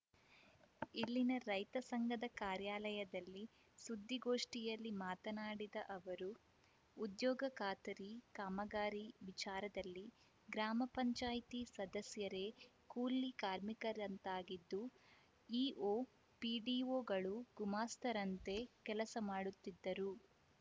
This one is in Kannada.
ಇಲ್ಲಿನ ರೈತ ಸಂಘದ ಕಾರ್ಯಾಲಯದಲ್ಲಿ ಸುದ್ದಿಗೋಷ್ಠಿಯಲ್ಲಿ ಮಾತನಾಡಿದ ಅವರು ಉದ್ಯೋಗ ಖಾತರಿ ಕಾಮಗಾರಿ ವಿಚಾರದಲ್ಲಿ ಗ್ರಾಮಪಂಚಾಯ್ತಿ ಸದಸ್ಯರೇ ಕೂಲಿ ಕಾರ್ಮಿಕರಂತಾಗಿದ್ದು ಇಒ ಪಿಡಿಒಗಳು ಗುಮಾಸ್ತರಂತೆ ಕೆಲಸ ಮಾಡುತ್ತಿದ್ದಾರೆ